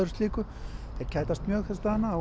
þeir kætast mjög þessa dagana